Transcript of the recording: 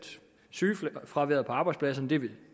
sygefraværet på arbejdspladserne vil